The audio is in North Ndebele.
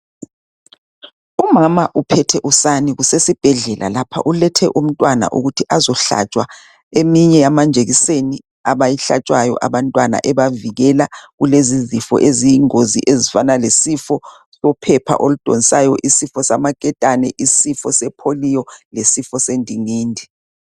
Umama uphethe usani kusesibhedlela lapha ulethe umntwana ukuthi azohlatshwa eminye yamanjekiseni abayihlatshwayo abantwana ebavikela kulezi zifo eziyingozi ezifana lesifo sophepha oludonsayo, isifo samaketane, isifo sepolio lesifo sendingindi.